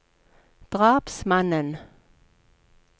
drapsmannen